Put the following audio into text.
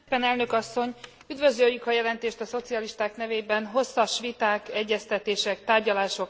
Üdvözöljük a jelentést a szocialisták nevében, hosszas viták, egyeztetések, tárgyalások eredményeként.